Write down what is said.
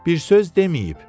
Bir söz deməyib.